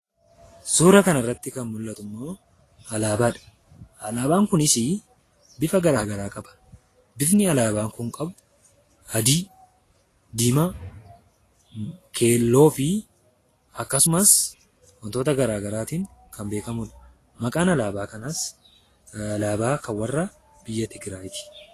Suura kana irratti kan arginu alaabaadha. Alaabaan Kunis bifa garagaraa qaba. Bifni alaabaa kanas diimaa, adii fi keelloodh. Alaabaan Kunis alaabaa biyya Tigiraayiti.